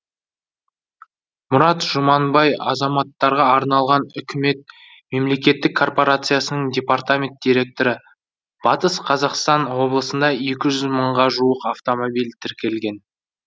мұрат жұманбай азаматтарға арналған үкімет мемлекеттік корпорациясының департамент директоры батыс қазақстан облысында екі жүз мыңға жуық автомобиль тіркелген